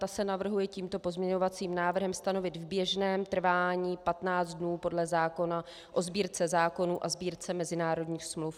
Ta se navrhuje tímto pozměňovacím návrhem stanovit v běžném trvání 15 dnů podle zákona o Sbírce zákonů a Sbírce mezinárodních smluv.